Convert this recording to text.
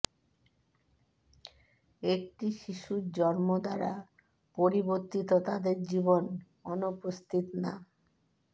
একটি শিশুর জন্ম দ্বারা পরিবর্তিত তাদের জীবন অনুপস্থিত না